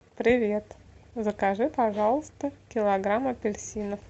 привет закажи пожалуйста килограмм апельсинов